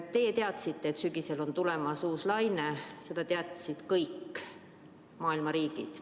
Teie teadsite, et sügisel on tulemas uus laine, seda teadsid kõik maailma riigid.